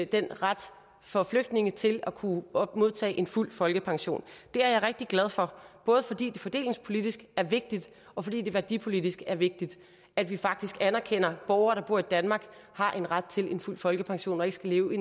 den ret for flygtninge til at kunne modtage fuld folkepension det er jeg rigtig glad for både fordi det fordelingspolitisk er vigtigt og fordi det værdipolitisk er vigtigt at vi faktisk anerkender at borgere der bor i danmark har ret til fuld folkepension og ikke skal leve